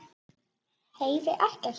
Heyri ekkert.